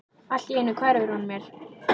Allt í einu hverfur hún mér.